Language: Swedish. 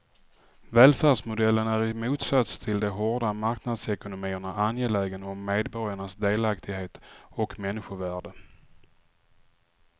Välfärdsmodellen är i motsats till de hårda marknadsekonomierna angelägen om medborgarnas delaktighet och människovärde.